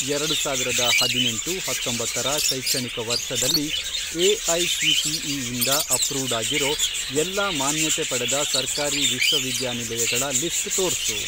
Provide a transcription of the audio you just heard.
ಎರಡು ಸಾವಿರದ ಹದಿನೆಂಟು, ಹತ್ತೊಂಬತ್ತರ, ಶೈಕ್ಷಣಿಕ ವರ್ಷದಲ್ಲಿ ಎಐಸಿಟಿಇ ಇಂದ ಅಪ್ರೂವ್ಡ್ ಆಗಿರೋ ಎಲ್ಲಾ ಮಾನ್ಯತೆ ಪಡೆದ ಸರ್ಕಾರಿ ವಿಶ್ವವಿದ್ಯಾನಿಲಯಗಳ ಲಿಸ್ಟ್ ತೋರ್ಸು.